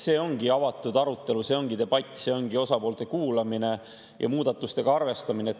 See ongi avatud arutelu, see ongi debatt, see ongi osapoolte kuulamine ja muudatustega arvestamine.